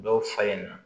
Dɔw fa ye na